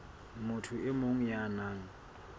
motho e mong ya nang